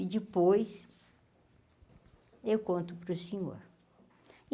E depois eu conto para o senhor.